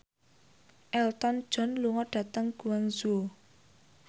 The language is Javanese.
Elton John lunga dhateng Guangzhou